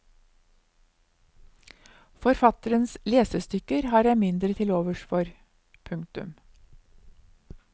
Forfatterens lesestykker har jeg mindre til overs for. punktum